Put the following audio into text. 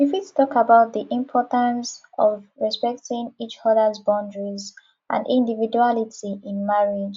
you fit talk about di importance of respecting each others boundaries and individuality in marriage